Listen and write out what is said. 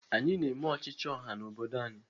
Anyị na-eme ọchịchị ọha n'obodo anyị